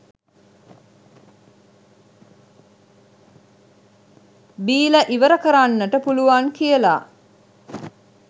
බීලා ඉවරකරන්ට පුළුවන් කියලා.